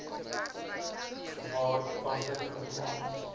waar toepaslik outomaties